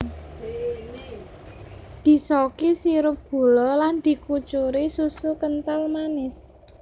Disoki sirup gula lan di kucuri susu kental manis